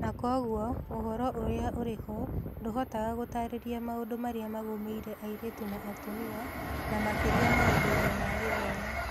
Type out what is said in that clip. Na kwoguo, ũhoro ũrĩa ũrĩ ho ndũhotaga gũtaarĩria maũndũ marĩa magũmĩire airĩtu na atumia, na makĩria maũndũ-inĩ ma gĩthomo.